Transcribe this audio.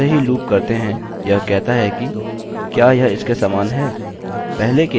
अतः जैसे ही लूप करते हैं यह कहता है कि क्या यह इसके समान है